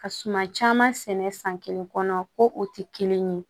Ka suma caman sɛnɛ san kelen kɔnɔ ko o tɛ kelen ye